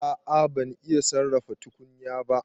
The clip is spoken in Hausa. A'a ban iya sarrafa tukunya ba.